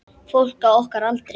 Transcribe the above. Fólk á okkar aldri.